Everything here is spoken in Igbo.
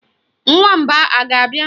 Nwamba a ga-abịa?